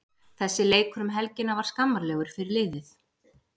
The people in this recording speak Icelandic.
Þessi leikur um helgina var skammarlegur fyrir liðið.